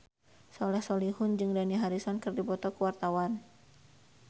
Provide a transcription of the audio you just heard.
Soleh Solihun jeung Dani Harrison keur dipoto ku wartawan